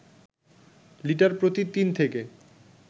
litre প্রতি ৩ থেকে